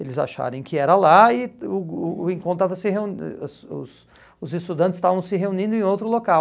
Eles acharem que era lá e o o o encontro estava se reunin os os os estudantes estavam se reunindo em outro local.